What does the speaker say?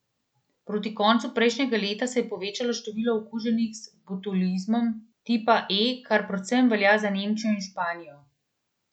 Proti koncu prejšnjega leta se je povečalo število okuženih z botulizmom tipa E, kar predvsem velja za Nemčijo in Španijo.